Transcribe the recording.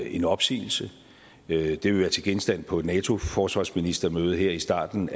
en opsigelse det vil være til genstand på et nato forsvarsministermøde her i starten